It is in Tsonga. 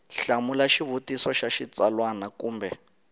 hlamula xivutiso xa xitsalwana kumbe